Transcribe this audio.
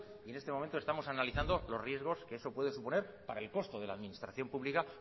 y en este momento estamos analizando los riegos que eso puede suponer para el costo de la administración pública